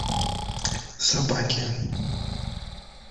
собаки